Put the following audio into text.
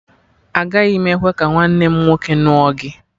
Agaghị m ekwe ka nwanne m nwoke ṅụọ gị!